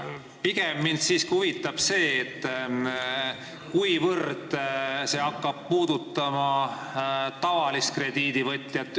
Mind pigem siiski huvitab see, kui palju see hakkab puudutama tavalist krediidivõtjat.